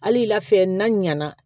Hali lafɛ n'a ɲana